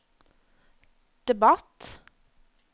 debatt